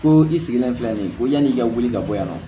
Ko i sigilen filɛ nin ye ko yanni i ka wuli ka bɔ yan